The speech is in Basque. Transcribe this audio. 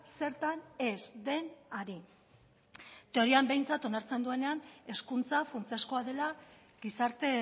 zertan ez den ari teorian behintzat onartzen duenean hezkuntza funtsezkoa dela gizarte